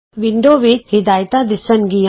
window ਵਿਚ ਹਿਦਾਇਤਾਂ ਦਿੱਸਣਗੀਆਂ